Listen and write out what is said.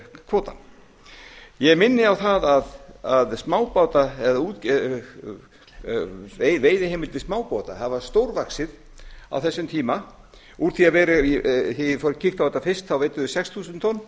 kvótann ég minni á að veiðiheimildir smábáta hafa stórvaxið á þessum tíma þegar ég kíkti á þetta fyrst þá veiddum við sex þúsund